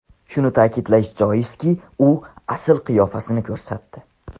Shuni ta’kidlash joizki, u asl qiyofasini ko‘rsatdi.